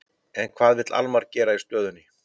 En hvað vill Almar gera í stöðunni?